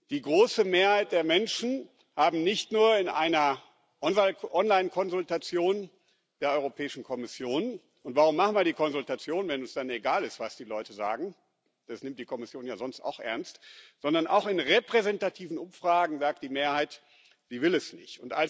Die große Mehrheit der Menschen hat nicht nur in einer Online Konsultation der Europäischen Kommission und warum machen wir dann eine Konsultation, wenn es uns dann egal ist, was die Leute sagen, das nimmt die Kommission ja sonst auch ernst sondern auch in repräsentativen Umfragen gesagt, sie will es nicht.